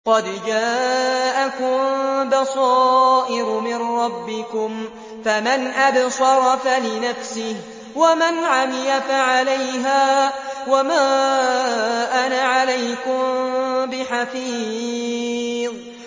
قَدْ جَاءَكُم بَصَائِرُ مِن رَّبِّكُمْ ۖ فَمَنْ أَبْصَرَ فَلِنَفْسِهِ ۖ وَمَنْ عَمِيَ فَعَلَيْهَا ۚ وَمَا أَنَا عَلَيْكُم بِحَفِيظٍ